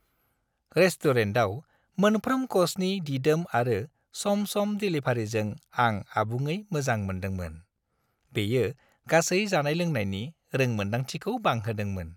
रेस्टुरेन्टआव मोनफ्रोम कर्सनि दिदोम आरो सम-सम देलिभारिजों आं आबुङै मोजां मोनदोंमोन; बेयो गासै जानाय-लोंनायनि रोंमोनदांथिखौ बांहोदोंमोन।